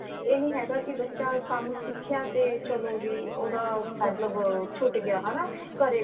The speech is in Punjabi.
ਏਹ ਨੀ ਹੈਗਾ ਕਿ ਬੱਚਾ ਕਮ ਸਿੱਖਿਆ ਤੇ ਚਲੋ ਜੀ ਓਦਾਂ ਮਤਲਬ ਛੁਟ ਗਿਆ ਹੈ ਨਾ ਘਰੇ ਬੈਠ